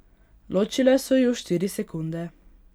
Ločile so ju štiri sekunde.